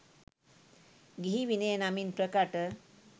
ගිහි විනය නමින් ප්‍රකට